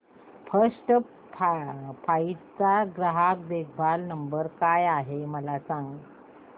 first Flight चा ग्राहक देखभाल नंबर काय आहे मला सांग